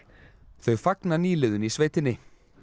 þau fagna nýliðun í sveitinni